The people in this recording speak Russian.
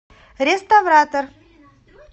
реставратор